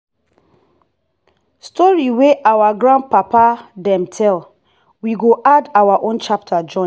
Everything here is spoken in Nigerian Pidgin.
story wey our grandpapa dem tell we go add our own chapter join.